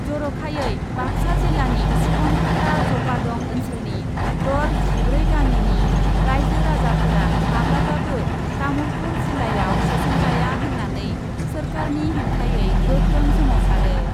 जर'खायै बाक्सा जिल्लानि सुबनखाता जपादं ओन्सोलनि दर जिब्रै गामिनि राइजो राजाफोरा माब्लाबाबो तामुलपुर जिल्लायाव सोसनजाया होन्नानै सोरखारनि हेंथायै गोख्रों सोमावसारो।